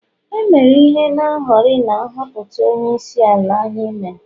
e mere ihe n' hori na nhọpụta onyeisiala anyị mere